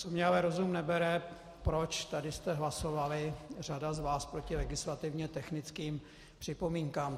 Co mně ale rozum nebere, proč tady jste hlasovali, řada z vás, proti legislativně technickým připomínkám.